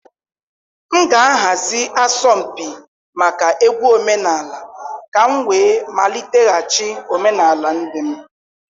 M ga-ahazi asọmpi maka egwu omenala ka m wee maliteghachi omenala ndị m.